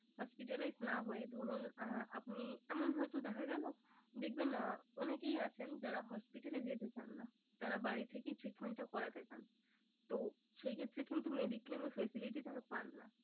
Hospitalize না হয়ে ধরুন আহ আপনি এমন হয়তো দেখা গেলো দেখবেন আহ অনেকেই আছেন যারা hospital এ যেতে চান না। তারা বাড়ি থেকেই treatment টা করাতে চান তো সেই ক্ষেত্রে কিন্ত mediclaim facility তারা পান না।